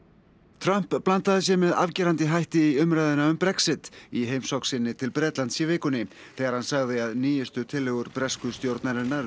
Trump blandaði sér með afgerandi hætti í umræðuna um Brexit í heimsókn sinni til Bretlands í vikunni þegar hann sagði að nýjustu tillögur bresku stjórnarinnar